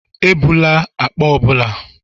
Ebula akpa ọ bụla.